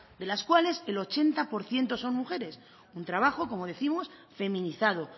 de las cuales el ochenta por ciento son mujeres un trabajo como décimos feminizado